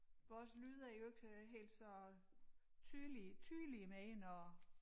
Vores lyd er jo ikke øh helt så tydelig tydelig mere når